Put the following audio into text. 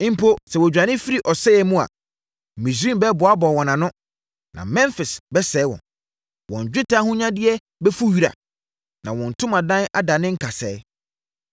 Mpo sɛ wɔdwane firi ɔsɛeɛ mu a Misraim bɛboaboa wɔn ano, na Memfis bɛsie wɔn. Wɔn dwetɛ ahonyadeɛ bɛfu wira, na wɔn ntomadan adane nkasɛɛ.